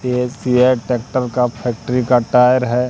ये CEAT tractor का factory का टायर है।